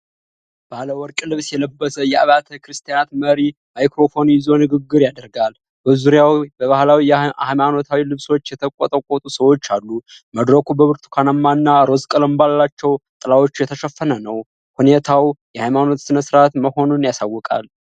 ባለ ወርቅ ልብስ የለበሰ የአብያተ ክርስቲያናት መሪ "ማይክሮፎን" ይዞ ንግግር ያደርጋል። በዙሪያው በባህላዊ ሃይማኖታዊ ልብሶች የተንቆጠቆጡ ሰዎች አሉ። መድረኩ በብርቱካናማ እና ሮዝ ቀለም ባላቸው ጥላዎች የተሸፈነ ነው። ሁኔታው የሃይማኖት ስነስርዓት መሆኑን ያሳውቃል።